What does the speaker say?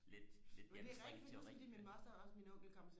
lidt lidt anstrengt teori ikke